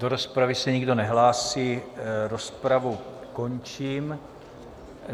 Do rozpravy se nikdo nehlásí, rozpravu končím.